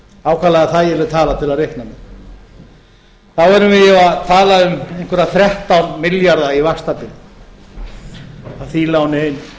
ákaflega þægilega tala til að reikna með þá erum við að tala um einhverja þrettán milljarða í vaxtabyrði af því láni einu